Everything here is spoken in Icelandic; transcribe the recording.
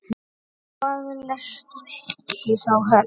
Og hvað lestu þá helst?